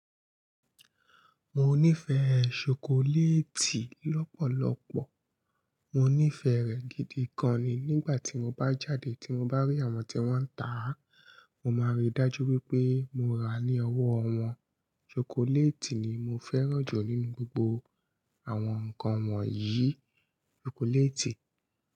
Mo nífẹ̀ẹ́ chocolate lọ́pọ̀lọpọ̀, mo nífẹ̀ẹ́ rẹ̀ gidi gan an ni. Nígbà tí mo bá jáde tí mo bá rí àwọn tí wọ́n ń tà á, mo máa ríi dájú wípé mo ra á ní ọwọ́. Àwọn ṣokoléètì ni mo fẹ́ràn jù nínú gbogbo àwọn ǹkan wọ̀nyí. Ṣokoléètì.